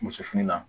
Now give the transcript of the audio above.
Muso fini la